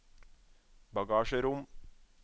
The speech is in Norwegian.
bagasjerom